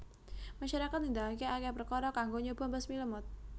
Masyarakat nindakake akeh perkara kanggo nyoba mbasmi lemut